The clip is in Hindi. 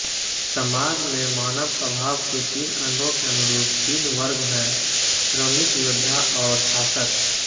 समाज में मानव स्वभाव के तीन अंगों के अनुरूप तीन वर्ग हैंश्रमिक योद्धा और शासक